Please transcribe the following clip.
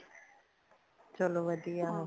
ਚਲੋ ਵਧੀਆ